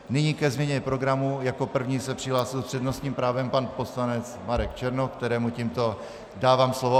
Nyní ke změně programu jako první se přihlásil s přednostním právem pan poslanec Marek Černoch, kterému tímto dávám slovo.